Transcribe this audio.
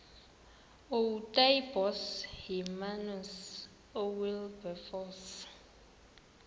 ootaaibos hermanus oowilberforce